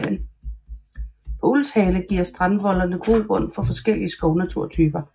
På Ulvshale giver strandvoldene grobund for forskellige skovnaturtyper